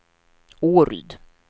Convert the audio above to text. Åryd